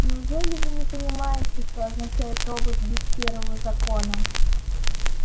неужели вы не понимаете что означает робот без первого закона